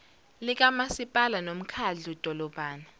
likamasipala nomkhadlu dolobha